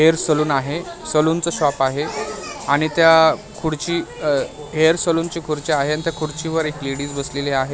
Hair salon आहे salon च shop आहे आणि त्या खुर्ची हेअर सलून ची खुर्ची आहे आणि त्या खुर्चीवर एक लेडीज बसलेली.